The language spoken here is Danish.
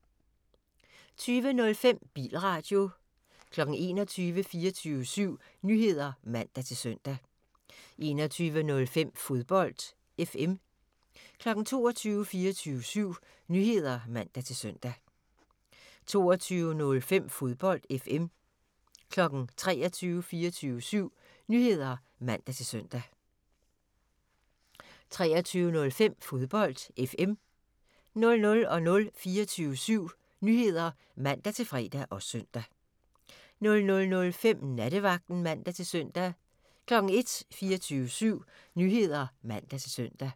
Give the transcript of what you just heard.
20:05: Bilradio 21:00: 24syv Nyheder (man-søn) 21:05: Fodbold FM 22:00: 24syv Nyheder (man-søn) 22:05: Fodbold FM 23:00: 24syv Nyheder (man-søn) 23:05: Fodbold FM 00:00: 24syv Nyheder (man-fre og søn) 00:05: Nattevagten (man-søn) 01:00: 24syv Nyheder (man-søn)